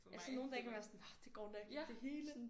Altså nogle dage kan man være sådan ah det går nok det hele